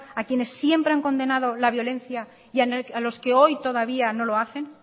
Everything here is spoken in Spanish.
a quienes siempre han condenado la violencia y a los que hoy todavía no lo hacen